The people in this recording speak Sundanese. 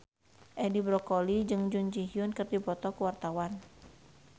Edi Brokoli jeung Jun Ji Hyun keur dipoto ku wartawan